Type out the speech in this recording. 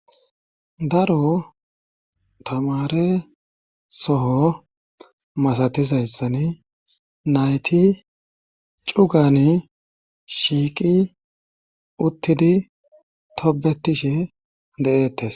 daro tamare soho masatizayssan naytiDaoan shiiqi uttidi tobetishe de7eettes.